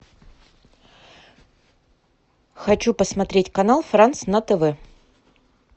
хочу посмотреть канал франц на тв